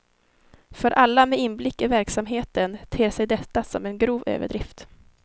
För alla med inblick i verksamheten ter sig detta som en grov överdrift.